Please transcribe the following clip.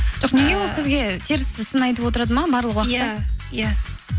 жоқ неге ол сізге теріс сын айтып отырады ма барлық уақытта иә иә